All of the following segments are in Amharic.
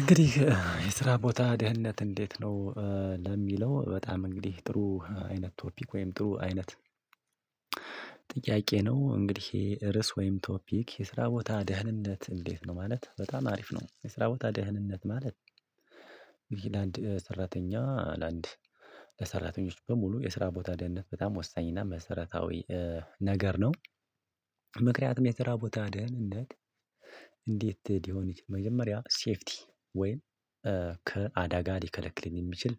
እንግዲህ የስራ ቦታ ድህነት እንዴት ነው ለሚለው በጣም እንግዲህ ጥሩ አይነት ቶፒክ ወይም ጥሩ አይነት ጥያቄ ነው እንግዲህ ርዕስ ወይም ቶፒክ የስራ ቦታ ደህንነት እንዴት ነው ማለት በጣም አሪፍ ነው የስራ ቦታ ደህንነት ማለት አንድ ሰራተኛ ለአንድ ለሰራተኞች በሙሉ የስራ ቦታ ደህንነት በጣም ወሳኝ እና መሰረታዊ ነገር ነው ምክንያቱም የትራ ቦታ አደን እንዴት እንዴት ዲሆን መጀመሪያ ሴፍቲ ወይን ከአዳጋ ሊከለክልን የሚችል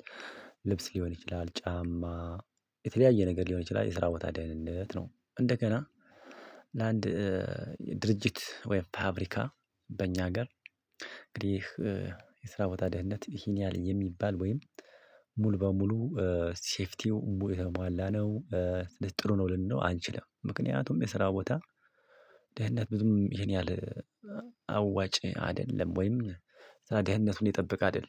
ልብስ ሊሆን ይችላል ጫማ የተለያየ ነገር ሊሆን ይችላል የስራ ቦታ ደህንነት ነው። እንደገና ለአንድ ድርጅት ወይም ፋብሪካ በእኛ ሀገር እንግዲህ የስራ ቦታ ደህንነት ይሄን ያለኝ የሚባል ወይም ሙሉ በሙሉ ሴፍቲው ሙሉ በሙሉ ነው ጥሩ ነው ልንለው አንችልም። ምክንያቱም የስራ ቦታ ምክንያቱም የስራ ቦታ አደን እንዴት እንዴት ዲሆን መጀመሪያ ሴፍቲ ወይን ከአዳጋ ሊከለክልን የሚችል ልብስ ሊሆን ይችላል ጫማ የተለያየ ነገር ሊሆን ይችላል የስራ ቦታ ደህንነት ነው። እንደገና ሴፍቲው ሙሉ በሙሉ ነው ጥሩ ነው ልንለው አንችልም ምክንያቱም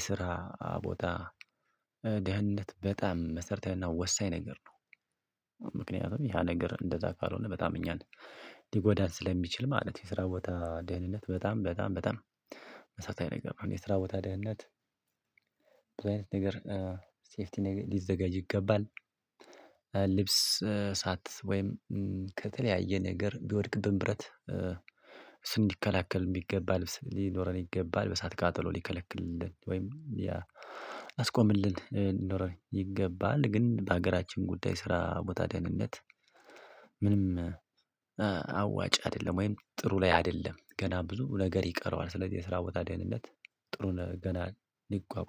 የስራ ቦታ ደህንነት በጣም መሰርታዊና ወሳኝ ነገር ነው። ምክንያቱም ያ ነገር እንደዛ ካልሆነ በጣም እኛን ሊጎዳን ስለሚችል ማለት የስራ ቦታ ደህንነት በጣም በጣም በጣም መሳታዊ ነገር ነው። የስራ ቦታ ደህንነት በዛ ነገር ሴፍቲ ሊዘጋጅ ይገባ። ልብስ እሳት ወይም ከተለያየ ነገር ቢወድቅብን ብረት እንዲከላከል የሚገባ ልብስ ሊኖረን ይገባል። እሳት ቃጠሎ ሊከለክልልን ወይም ሊያስቆምልን ይገባል። ግን በሀገራችን ጉዳይ ስራ ቦታ ደህንነት ምንም አዋጭ አይደለም ወይም ጥሩ ላይ አይደለም ገና ብዙ ነገር ይቀረዋል። ስለዚህ የስራ ደህንነት ጥሩ ገና ሊቋቋም